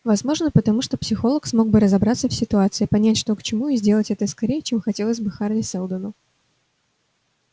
возможно потому что психолог смог бы разобраться в ситуации понять что к чему и сделать это скорее чем хотелось бы хари сэлдону